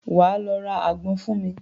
Wà á lọ ra àgbọn fún mi.